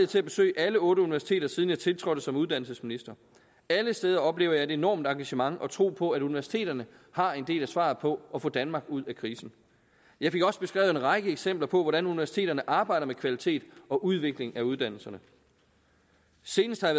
til at besøge alle otte universiteter siden jeg tiltrådte som uddannelsesminister alle steder oplever jeg et enormt engagement og en tro på at universiteterne har en del af svaret på at få danmark ud af krisen jeg fik også beskrevet en række eksempler på hvordan universiteterne arbejder med kvalitet og udvikling af uddannelserne senest har